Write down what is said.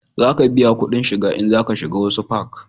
Za ka biya kudin shiga in za ka shiga wasu fak